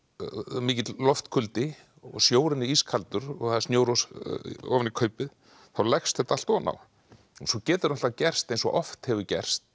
mikill og sjórinn er ískaldur og það er snjór ofan í kaupið þá leggst þetta allt ofan á svo getur gerst eins og oft hefur gerst